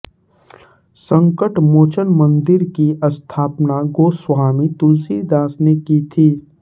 संकटमोचन मंदिर की स्थापना गोस्वामी तुलसीदास ने की थी